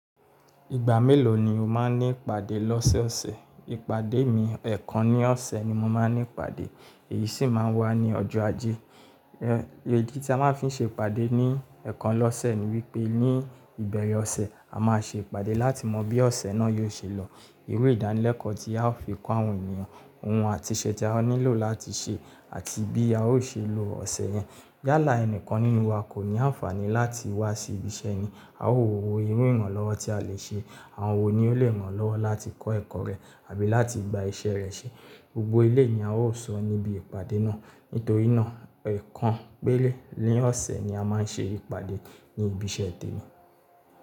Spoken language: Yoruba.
Ìgbà mélòó ni o máa ń ní ìpàdé lọ́sẹ̀ ọ̀sẹ̀? Ìpàdé mi, ẹ̀ẹ̀kan ní ọ̀sẹ̀ ni mo máa ń ní ìpàdé, èyí sì máa ń wá ní ọjọ́ Ajé. Idítí a máa ń fi ṣe ìpàdé ní ẹ̀ẹ̀kan lọ́sẹ̀ ni wípé ní ìbẹ̀rẹ̀ ọ̀sẹ̀ a máa ṣe ìpàdé láti mọ bí ọ̀sẹ̀ náà yóò ṣe lọ, irú ìdánilẹ́kọ̀ọ́ tí a ó fi kọ́ àwọn ènìyàn, ohun àti iṣẹ́ tí a nílò láti ṣe àti bí a ó ṣe lo ọ̀sẹ̀ yẹn. Yálà ẹni kan nínú wa kò ní àǹfààní láti wá sí ibi iṣẹ́ ni, a ó wo owó irú ìrànlọ́wọ́ tí a lè ṣe, àwọn wo ni ó lè rànlọ́wọ́ láti kọ́ ẹ̀kọ́ rẹ̀ àbí láti gba iṣẹ́ rẹ̀ ṣe. Gbogbo eléyi ni a ó sọ níbi ìpàdé náà. Nítorí náà, ẹ̀ẹ̀kan péré ní ọ̀sẹ̀ ni a máa ń ṣe ìpàdé ní ibi iṣẹ́ tèmi.